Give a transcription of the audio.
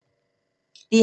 DR2